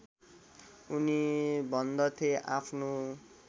उनी भन्दथे आफ्नो